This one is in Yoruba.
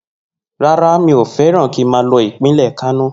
No, i hate go to kano state